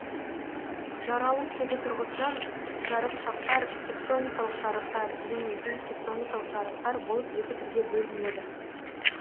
жаралу тегі тұрғысынан жарықшақтар тектоникалық жарықтар және бейтектоникалық жарықтар болып екі түрге бөлінеді